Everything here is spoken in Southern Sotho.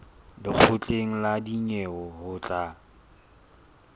lekgotleng la dinyewe ho tla